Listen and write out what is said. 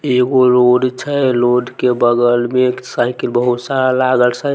एगो रोड छै रोड के बगल में एक साइकिल बहुत सारा लागल साइकिल।